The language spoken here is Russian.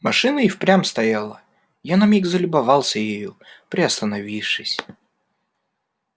машина и впрямь стояла я на миг залюбовался ею приостановившись